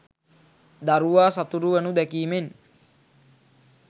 දරුවා සතුටු වනු දැකීමෙන්